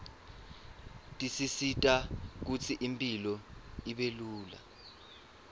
tisisita kutsi impilo ibelula